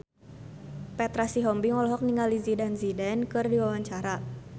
Petra Sihombing olohok ningali Zidane Zidane keur diwawancara